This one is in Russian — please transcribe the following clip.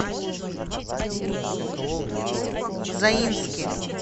заинске